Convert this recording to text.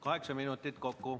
Kaheksa minutit kokku.